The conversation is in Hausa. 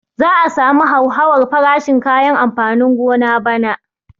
Za a samu hauhawar farashin kayan amfanin gona bana